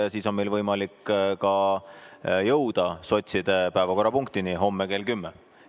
Ja siis on meil võimalik jõuda ka sotside päevakorrapunktini homme kell 10.